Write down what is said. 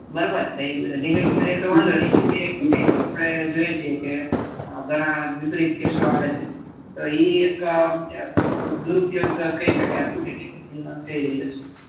બરોબર limit માં રહે તો વાંધો નઈ અતીરેક્ત થાય તો અપડે જોઈએ છીએ કે ઘણા વિપરીત કેસો આવે છે એ એ એક દૂર ઉપયોગ કઈ શકાય છે જે થઇ રહ્યો છે